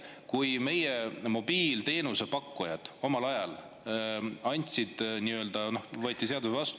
Kui meie mobiilteenuse pakkujad omal ajal, kui võeti seadus vastu …